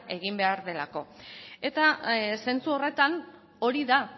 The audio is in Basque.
egin behar delako eta zentzu horretan hori da